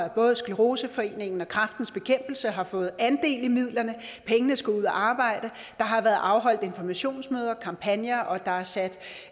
at både scleroseforeningen og kræftens bekæmpelse har fået andel i midlerne pengene skal ud at arbejde der har været afholdt informationsmøder kampagner og der er sat